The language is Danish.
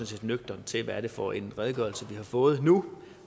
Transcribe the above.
set nøgternt til hvad det er for en redegørelse vi har fået nu